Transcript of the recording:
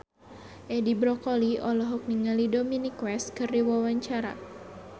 Edi Brokoli olohok ningali Dominic West keur diwawancara